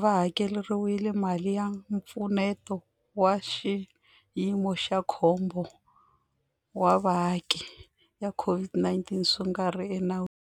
va hakeriwile mali ya Mpfuneto wa Xiyimo xa Khombo wa Vaaki ya COVID-19 swi nga ri enawini.